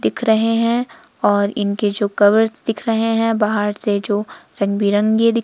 दिख रहे हैं और इनके जो कवर्स दिख रहे हैं बाहर से जो रंग बिरंगे दिख--